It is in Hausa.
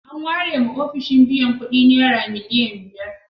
An warewa ofishin biyan kuɗi naira miliyan biyar.